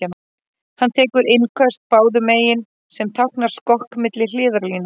Hann tekur innköst báðum megin, sem táknar skokk milli hliðarlína.